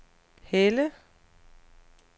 Helle